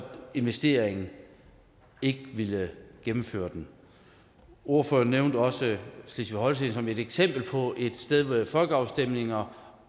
investeringen ikke ville gennemføre den ordføreren nævnte også slesvig holsten som et eksempel på et sted med folkeafstemninger